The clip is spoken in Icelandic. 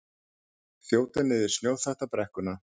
Þjóta niður snjóþakta brekkuna